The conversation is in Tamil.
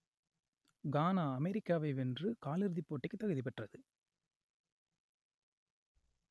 கானா அமெரிக்காவை வென்று கால் இறுதிப்போட்டிக்குத் தகுதி பெற்றது